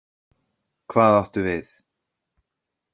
Hvað áttu við?